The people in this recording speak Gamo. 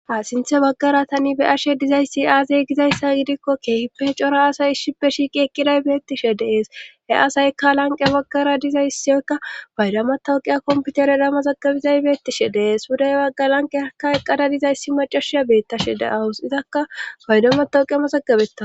Ha sinthe baggara tani be ashe dizayssi aazey gizayssa gidikko keehippe cora asay ishshippe shiiqi eqqiday beettishe dees he asaykka lanqe baggara dizayssyoykka paydama tawqiya komputere dama zagabizay beettishe dees wuday baggalanqe akka eqqada dizayssi macashiya beettashe da7awus izakka paydama taowqi ama zagabeta